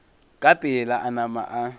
ka pela a nama a